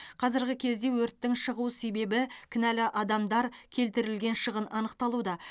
қазіргі кезде өрттің шығу себебі кінәлі адамдар келтірілген шығын анықталуда